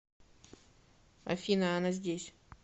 афина она здесь